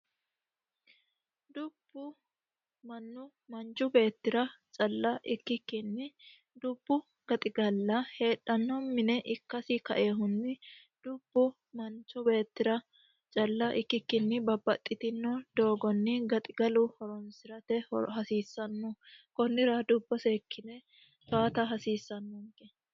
Dubbu manchu beettira calla ikkikkinni dubbu gaxigalla heedhanoha mine ikkasini kainohunni dubbu manchi beettira calla ikkikkini babbaxitino doogonni gaxigalu horonsirate hasiisano konnira dubbo seekkine towaata hasiisanonke.